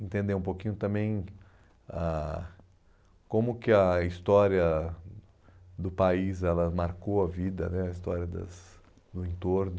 Entender um pouquinho também ah como que a história do país ela marcou a vida né, a história das do entorno.